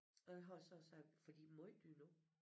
Og jeg har så også sagt for de er måj dyre nu